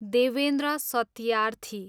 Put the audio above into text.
Devendra Satyarthi